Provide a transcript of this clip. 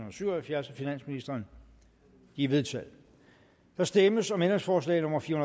og syv og halvfjerds af finansministeren de er vedtaget der stemmes om ændringsforslag nummer fire